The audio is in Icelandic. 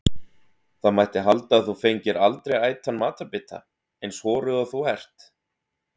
Það mætti halda að þú fengir aldrei ætan matarbita, eins horuð og þú ert.